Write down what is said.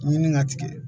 Ɲini ka tigɛ